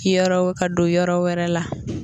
Bi yɔrɔ ka don yɔrɔ wɛrɛ la.